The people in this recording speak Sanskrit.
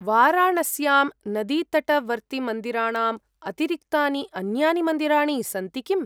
वाराणस्यां नदीतटवर्तिमन्दिराणाम् अतिरिक्तानि अन्यानि मन्दिराणि सन्ति किम्?